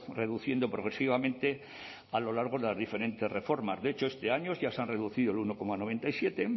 reduciendo progresivamente a lo largo de las diferentes reformas de hecho este año ya se han reducido el uno coma noventa y siete